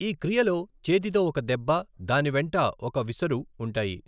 ఈ క్రియలో చేతితో ఒక దెబ్బ, దాని వెంట ఒక విసరు ఉంటాయి.